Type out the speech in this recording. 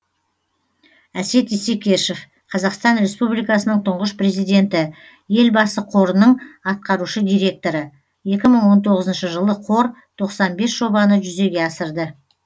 әсет исекешев қазақстан республикасының тұңғыш президенті елбасы қорының атқарушы директоры екі мың он тоғызыншы жылы қор тоқсан бес жобаны жүзеге асырды